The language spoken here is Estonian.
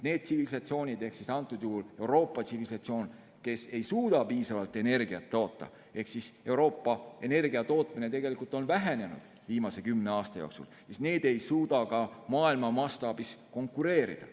Need tsivilisatsioonid, antud juhul Euroopa tsivilisatsioon, kes ei suuda piisavalt energiat toota – Euroopa energiatootmine on viimase kümne aasta jooksul vähenenud –, ei suuda ka maailma mastaabis konkureerida.